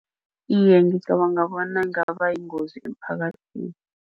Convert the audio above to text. Iye, ngicabanga bona ngaba yingozi emphakathini.